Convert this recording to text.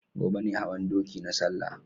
Gobe ne hawan doki na salla